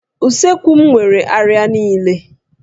Usekwu m nwere àrịá niile